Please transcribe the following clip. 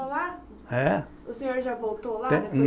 É. O senhor já voltou lá?